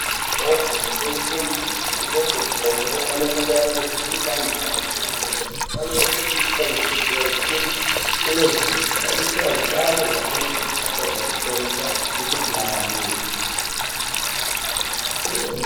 Mhatso inotengese mitombo, imweni yemitombo inofane kungwarirwe iri pantu panotonhorere ,aifaniri kupishwa ngezuwa, ngekuti inozoshaisha utano hweantu, ikatadza kuporesa mikhuhlani.